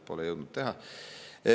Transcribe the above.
Ei ole jõudnud teha.